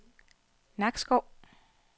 Nakskov